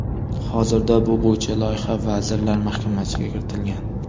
Hozirda bu bo‘yicha loyiha Vazirlar Mahkamasiga kiritilgan.